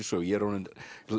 sögu ég er orðinn